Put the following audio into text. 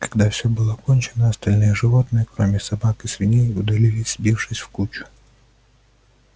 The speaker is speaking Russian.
когда всё было кончено остальные животные кроме собак и свиней удалились сбившись в кучу